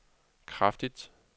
kraftigt